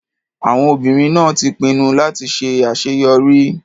Àwọn obìnrin náà ti pinnu láti ṣe àṣeyọrí.